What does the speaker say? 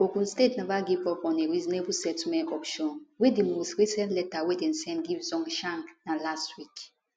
ogun state neva give up on a reasonable settlement option wia di most recent letter wey dem send give zhongshan na last week